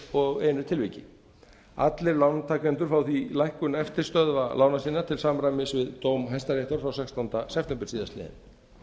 og einu tilviki allir lántakendur fá því lækkun eftirstöðva lána sinna til samræmis við dóm hæstaréttar frá sextánda september síðastliðinn